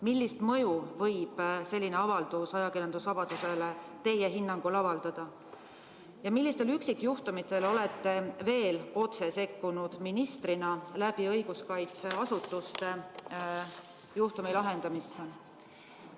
Millist mõju võib selline avaldus ajakirjandusvabadusele teie hinnangul avaldada ja millistel üksikjuhtumitel olete veel otse sekkunud ministrina õiguskaitseasutuste kaudu juhtumi lahendamisse?